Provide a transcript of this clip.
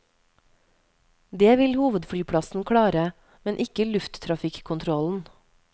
Det vil hovedflyplassen klare, men ikke lufttrafikkontrollen.